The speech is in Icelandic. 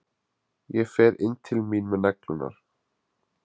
Ég fer inn til mín með neglurnar.